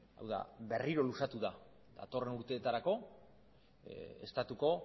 hau da berriro luzatu da datorren urteetarako estatuko